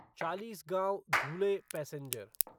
Chalisgaon Dhule passenger